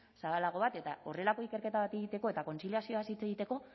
zabalago bat eta horrelako ikerketa bat egiteko eta kontziliazioaz hitz egiteko